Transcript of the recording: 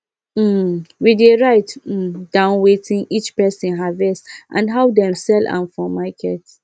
um we dey write um down wetin each person harvest and how dem sell am for market